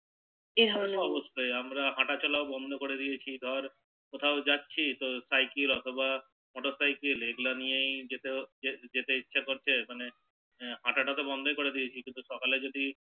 এই ধরণের এই অবস্থা আমরা হাটা চলাও বন্দ করে দিয়েছি ধর কোথাও যাচ্ছি তো সাইকেল অথবা মটর সাইকেল এগুলো নিয়েই যেতে হচ্ছে যেতে ইচ্ছে করছে মানে হাটা টা তো বন্দই করে দিয়েছি কিন্তু সকালে যদি